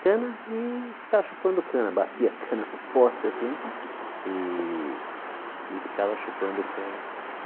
Cana e ficava chupando cana, batia cana no poste assim e e ficava chupando cana.